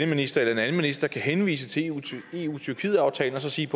minister eller en anden minister kan henvise til eu tyrkiet aftalen og sige